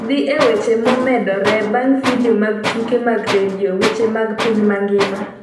Dhi e weche momedore mag Video mag Tuke mag Redio. Weche mag piny mangima